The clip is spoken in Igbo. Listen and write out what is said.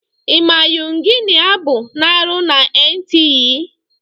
Ị ma Yuginia Abu na-arụ na Entiee?